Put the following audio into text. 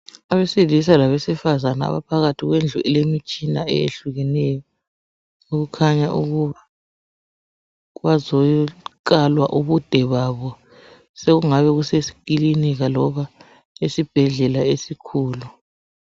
Abesilisa labesifazane abaphakathi kwendlu elemitshina eyehlukeneyo okukhanya ukuthi bazokalwa ubude babo, sekungabe kusekilinika loba esibhedlela esikhulu.